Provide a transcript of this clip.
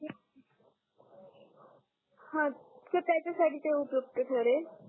हा ते त्याच्या साठी ते उपयुक्त ठरेल